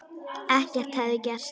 Ekkert hefði gerst.